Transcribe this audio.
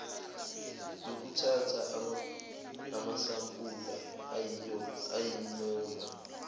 nokuthatha amasampula ayinoma